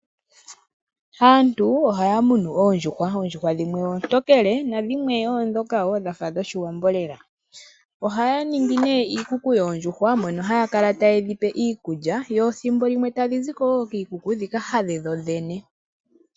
Aantu ohaya munu oodjuhwa. Oondjuhwa dhimwe oontokele na dhimwe oondhoka woo dhafa dho shiwambo lela. Ohaya ningi nee iikuku yoondjuhwa, mono haya kala taye dhi pe iikulya, yo thimbo limwe tadhi ziko wo kiikuku dhika hadhe dhoodhene.